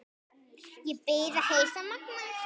Ég bið að heilsa Manga!